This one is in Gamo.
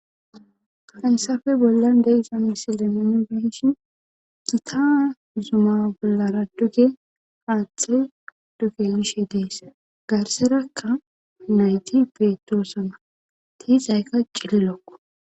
hasafe bollan de7iza misile minu beshi gita zuma bollara duge haathey duge xelishe dees garserakka nayti peetoosana tiixaykka cililokqo